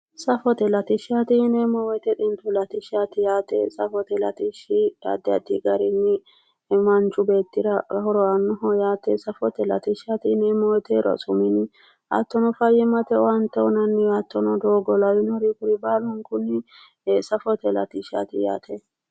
Safote latishshaati yineemmo woyite xintu latishshaati yaate. Safote latishshi addi addi garinni manchu beettira horo aannoho yaate. Safote latishshaati yineemmo woyite rosu mine hattono fayyimmate owaante uyinanniwa hattono doogo lawinori baalunkunni safote latishshaati yaate.